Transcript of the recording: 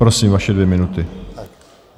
Prosím, vaše dvě minuty.